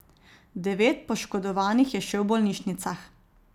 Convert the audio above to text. Devet poškodovanih je še v bolnišnicah.